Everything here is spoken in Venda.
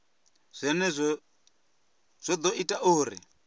zwenezwo zwo ḓo ita uri